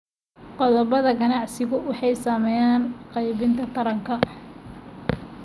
Qodobbada ganacsigu waxay saameeyaan qaybinta taranka.